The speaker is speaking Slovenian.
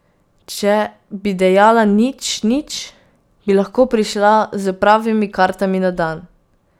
Če bi dejala nič, nič, bi lahko prišla s pravimi kartami na dan.